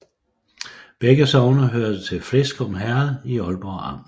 Begge sogne hørte til Fleskum Herred i Ålborg Amt